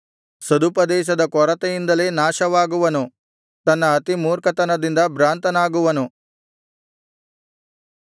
ಸದುಪದೇಶದ ಕೊರತೆಯಿಂದಲೇ ನಾಶವಾಗುವನು ತನ್ನ ಅತಿಮೂರ್ಖತನದಿಂದ ಭ್ರಾಂತನಾಗುವನು